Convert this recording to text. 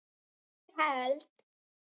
ég held